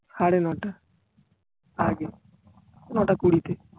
সাড়েনটা আগে নোটা কুড়িতে